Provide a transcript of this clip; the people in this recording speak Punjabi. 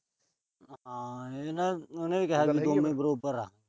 ਹਾਂ, ਇਹ ਤਾਂ ਉਹਨੇ ਕਿਹਾ ਸੀ ਵੀ ਬਰੋਬਰ ਆ।